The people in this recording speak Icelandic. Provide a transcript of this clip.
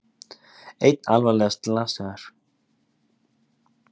Einn alvarlega slasaður